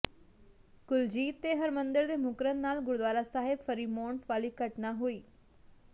ਕੁਲਜੀਤ ਤੇ ਹਰਮਿੰਦਰ ਦੇ ਮੁੱਕਰਨ ਨਾਲ ਗੁਰਦੁਆਰਾ ਸਾਹਿਬ ਫਰੀਮੌਂਟ ਵਾਲੀ ਘਟਨਾ ਹੋਈ